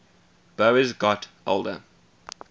boas got older